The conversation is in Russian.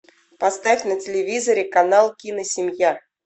поставь на телевизоре канал киносемья